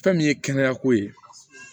Fɛn min ye kɛnɛyako ye